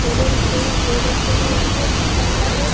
केले रखे हुए हैं सेव रखे हैं यहां पे एक लड़का खड़ा है।